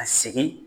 Ka segin